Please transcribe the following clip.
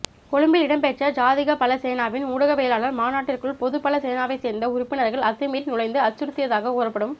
கொழும்பில் இடம்பெற்ற ஜாதிகபல சேனாவின் ஊடகவியலாளர் மாநாட்டிற்குள் பொதுபல சேனாவைச்சேர்ந்த உறுப்பினர்கள் அத்துமீறி நுழைந்து அச்சுறுத்தியதாக கூறப்படும்